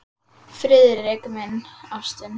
Friðrik minn, ástin.